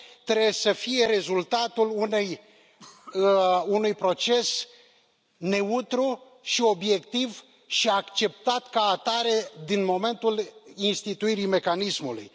trebuie să fie rezultatul unui proces neutru și obiectiv și acceptat ca atare din momentul instituirii mecanismului.